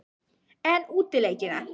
En útileikina?